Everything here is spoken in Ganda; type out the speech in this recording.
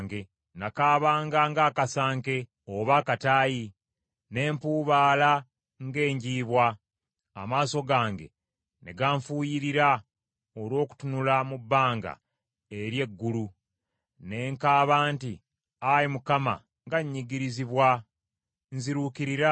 Nakaabanga ng’akasanke oba akataayi, n’empuubaala ng’enjiibwa, amaaso gange ne ganfuyirira olw’okutunula mu bbanga eri eggulu. Ne nkaaba nti, Ayi Mukama, nga nnyigirizibwa, nziruukirira.”